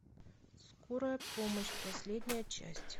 скорая помощь последняя часть